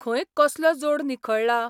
खंय कसलो जोड निखळ्ळा?